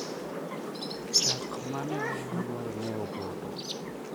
chak mane ous nyoro ne opoto